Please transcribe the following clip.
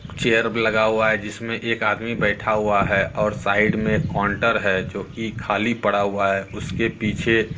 chair लगा हुआ है जिसमें एक आदमी बैठा हुआ है और साइड में काउंटर है जो कि खाली पड़ा हुआ है उसके पीछे--